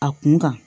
A kun kan